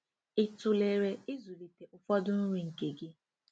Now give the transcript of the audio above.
Ị tụlere ịzụlite ụfọdụ nri nke gị?